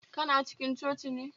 Kana cikin coci ne